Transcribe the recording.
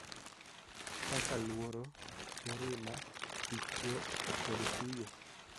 Kaka luoro, mirima, wich kuot, kod kuyo.